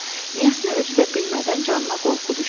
Niyəsə özü də bilmədən canına qorxu düşdü.